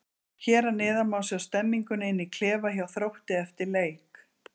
Hér að neðan má sjá stemninguna inn í klefa hjá Þrótti eftir leik.